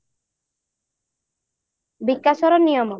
ବିକାଶର ନିୟମ